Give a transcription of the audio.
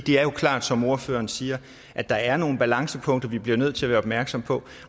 er jo klart som ordføreren siger at der er nogle balancepunkter vi bliver nødt til at være opmærksomme på